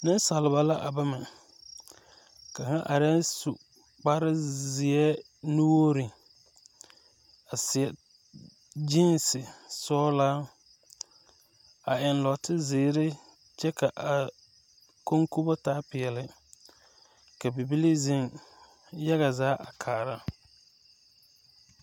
Neŋsaliba la a bama kaŋa arɛɛŋ su kparezeɛ nuwogre a seɛ gyeese sɔglaa a eŋ nɔɔte zeere kyɛ ka a koŋkobo taa peɛle ka bibilii zeŋ yaga a kaara.